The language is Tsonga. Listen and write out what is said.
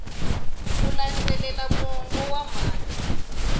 ku landzelela mongo wa mhaka